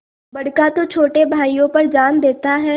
बड़का तो छोटे भाइयों पर जान देता हैं